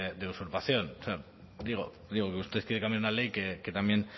usurpación o sea digo digo que usted quiere cambiar una ley que también